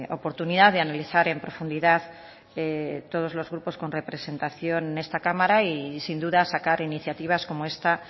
oportunidad de analizar en profundidad todos los grupos con representación en esta cámara y sin duda sacar iniciativas como esta